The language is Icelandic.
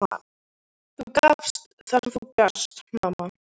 Þú gafst það sem þú gast, mamma.